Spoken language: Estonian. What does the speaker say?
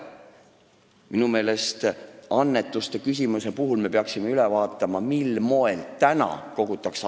Minu meelest me peaksime annetuste puhul üle vaatama, mil moel neid praegu kogutakse.